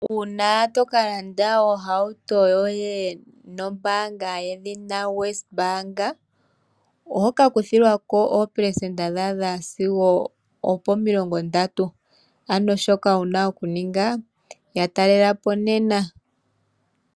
Uuna to ka landa ohauto yoye nombaanga yedhina Wesbank, oho ka kuthilwa ko oopelesenda dha adha sigo opo30, ano shoka wu na okuninga ya talela po nena.